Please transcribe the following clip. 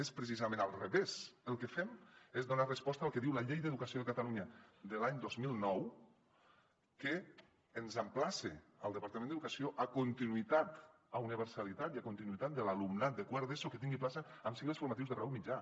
és precisament al revés el que fem és donar resposta al que diu la llei d’educació de catalunya de l’any dos mil nou que emplaça el departament d’educació a continuïtat a universalitat i a continuïtat de l’alumnat de quart d’eso perquè tingui plaça en cicles formatius de grau mitjà